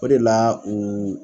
O de la u